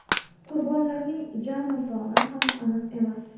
Qurbonlarning jami soni ham aniq emas.